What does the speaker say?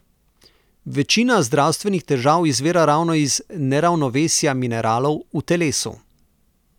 Večina zdravstvenih težav izvira ravno iz neravnovesja mineralov v telesu.